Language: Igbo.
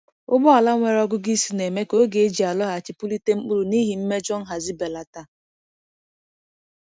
Ugbo ala nwere ọgụgụ isi na-eme ka oge eji alọghachi kpụlite mkpụrụ n’ihi mmejọ nhazi belata.